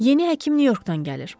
Yeni həkim Nyu-Yorkdan gəlir.